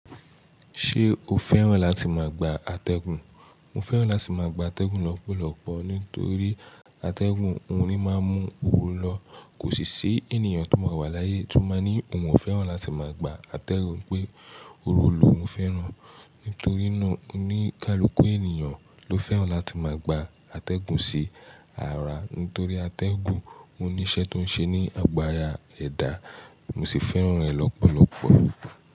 Ṣé o fẹ́ràn láti máa gba atẹ́gùn? Mo fẹ́ràn láti máa gba atẹ́gùn lọ́pọ̀lọpọ̀ nítorí atẹ́gùn, òun ni máa ń mú ooru lọ. Kò sì ṣe ènìyàn tó máa wà láyé tó máa ní òun ò fẹ́ràn láti máa gba atẹ́gùn pé ooru lóun fẹ́ràn. Nítorí náà, oníkálukú ènìyàn ló fẹ́ràn láti máa gba atẹ́gùn sí ara. Nítorí atẹ́gùn, ó ní iṣẹ́ tó ń ṣe ní àgo árà ẹ̀dá. Mo sì fẹ́ràn rẹ̀ lọ́pọ̀lọpọ̀.